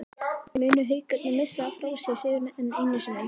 Munu Haukarnir missa frá sér sigurinn, enn einu sinni???